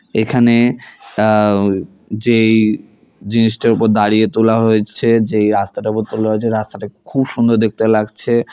এখানে আ যেই জিনিসটার উপর দাঁড়িয়ে তোলা হয়েছে যেই রাস্তাটার উপর তোলা হয়েছে রাস্তাটা খুব সুন্দর দেখতে লাগছে।